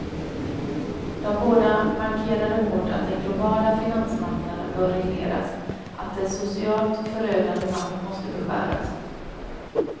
De båda markerade hårt att den globala finansmarknaden bör regleras, att dess socialt förödande makt måste beskäras.